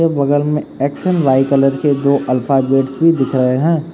बगल में X and Y colour के दो अल्फाबेट्स भी दिख रहे है।